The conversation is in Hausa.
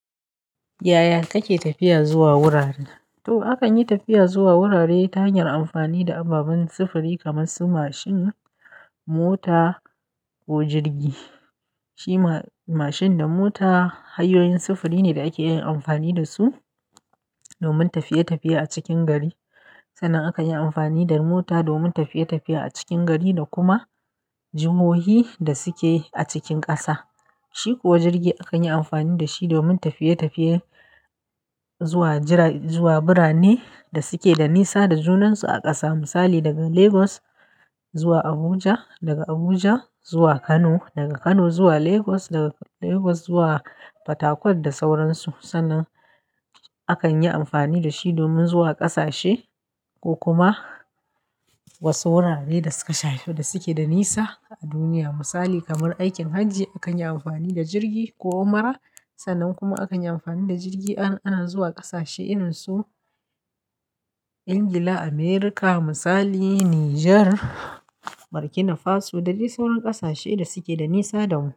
Yaya kake tafiya zuwa wurare? To akan yi tafiya zuwa wurare ta hanyar amfani da ababen sufuri kamar su mashin, mota ko jirgi. Shi ma-mashin da mota hanyoyin sufuri ne da ake amfani da su domin tafiye-tafiye a cikin gari. Sannan aka yi amfani da mota domin tafiye-tafiye a cikin gari da kuma jihohi da suke a cikin ƙasa. Shi kuwa jirgi akan yi amfani da shi domin tafiye-tafiye zuwa jira-- zuwa birane da suke da nisa da junansu a ƙasa. Misali daga Legos zuwa Abuja, daga Abuja zuwa Kano, daga Kano zuwa Legos, daga Legao zuwa Fatakwat da sauran su. Sannan a kan yi amfani da shi domin zuwa ƙasashe ko kuma wasu wurare da suka shafi da suke da nisa a duniya. Misali kamar aikin hajji akan yi amfani da jirgi ko ummara. Sannan kuma akan yi amfani da jirgi ana, ana zuwa ƙasashe irin su Ingila, Amirika, misali Nijar, Burkina Faso da dai sauran ƙasashe da suke da nisa da mu.